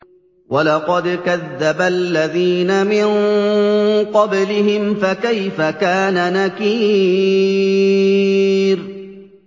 وَلَقَدْ كَذَّبَ الَّذِينَ مِن قَبْلِهِمْ فَكَيْفَ كَانَ نَكِيرِ